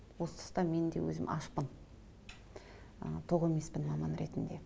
осы тұста мен де өзім ашпын ы тоқ емеспін маман ретінде